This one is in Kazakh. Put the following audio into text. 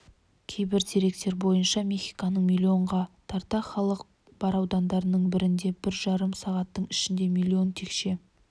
кейбір деректер бойынша мехиконың млн-ға тарта халқы бар аудандарының бірінде бір жарым сағаттың ішінде млн текше